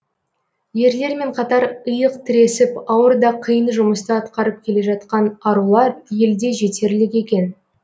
ерлермен қатар иық тіресіп ауыр да қиын жұмысты атқарып келе жатқан арулар елде жетерлік екен